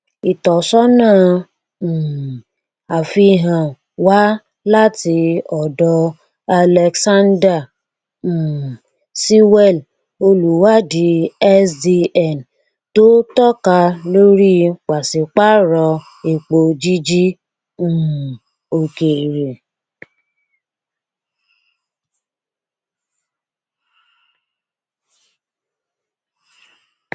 ìtọsọnà um àfihàn wá láti ọdọ alexander um sewell olùwádìí sdn tó tọka lórí pàṣípàrọ epo jíjí um òkèèrè